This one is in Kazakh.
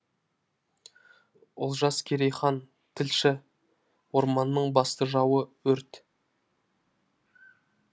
олжас керейхан тілші орманның басты жауы өрт